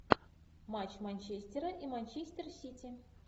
матч манчестера и манчестер сити